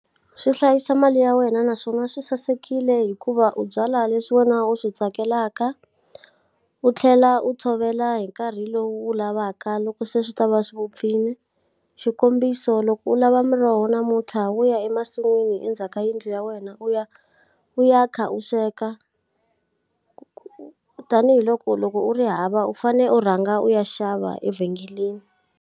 Swi hlayisa mali ya wena naswona swi sasekile hikuva u byala leswi wena u swi tsakelaka, u tlhela u tshovela hi nkarhi lowu wu lavaka loko se swi ta va swi vupfile. Xikombiso loko u lava muroho namuntlha wo ya emasin'wini endzhaku ka yindlu ya wena u ya, u ya kha u sweka. Tanihi loko loko u ri hava u fanele u rhanga u ya xava evhengeleni.